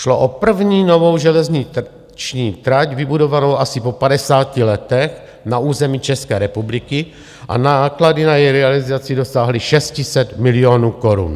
Šlo o první novou železniční trať vybudovanou asi po 50 letech na území České republiky a náklady na její realizaci dosáhly 600 milionů korun.